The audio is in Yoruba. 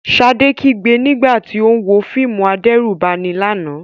Ṣadé kígbe nígbà tí ó ń wo fíìmù adẹ́rùbani lánàá.